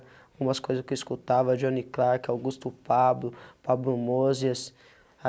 Algumas coisas que eu escutava, a Johnny Clark, Augusto Pabllo, Pabllo Mozias.